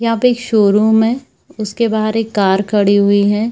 यहाँ पे एक शोरूम है उसके बाहर एक कार खड़ी हुई है।